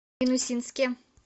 минусинске